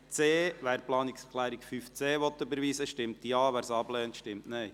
Wer die Planungserklärung 5.c überweisen will, stimmt Ja, wer sie ablehnt, stimmt Nein.